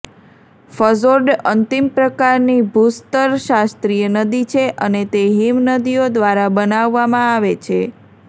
fjord અંતિમ પ્રકારની ભૂસ્તરશાસ્ત્રીય નદી છે અને તે હિમનદીઓ દ્વારા બનાવવામાં આવે છે